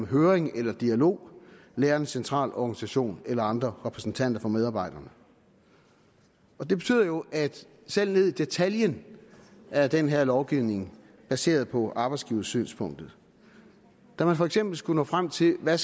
høring eller dialog lærernes centralorganisation eller andre repræsentanter for medarbejderne det betyder jo at selv ned i detaljen er den her lovgivning baseret på arbejdsgiversynspunktet da man for eksempel skulle nå frem til hvad